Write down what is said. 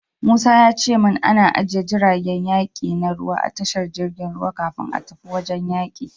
Musa ya ce min ana ajiye jiragen yaki na ruwa a tashar jirgin ruwa kafin a tafi wajen yaki.